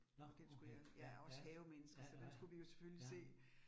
Og den skulle jeg jeg også havemenneske, så den skulle vi jo selvfølgelig se